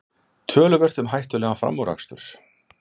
Töluvert um hættulegan framúrakstur